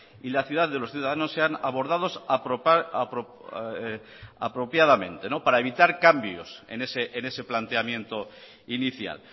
y la ciudad de los ciudadanos sean abordados apropiadamente para evitar cambios en ese planteamiento inicial